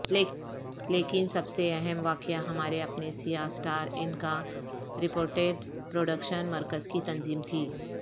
لیکن سب سے اہم واقعہ ہمارے اپنے سیاہ سٹار انکارپوریٹڈ پروڈکشن مرکز کی تنظیم تھی